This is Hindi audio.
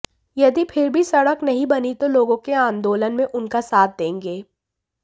यदि फिर भी सड़क नहीं बनी तो लोगों के आंदोलन में उनका साथ देंगे